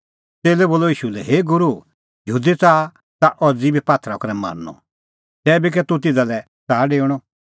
च़ेल्लै बोलअ ईशू लै हे गूरू यहूदी च़ाहा ताह अज़ी बी पात्थरा करै मारनअ तैबी कै तूह तिधा लै च़ाहा डेऊणअ